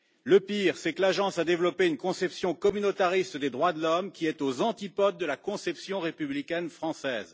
Le pire est que l'Agence a développé une conception communautariste des droits de l'homme qui est aux antipodes de la conception républicaine française.